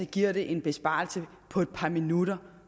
giver det en besparelse på et par minutter